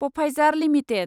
Pfizer limited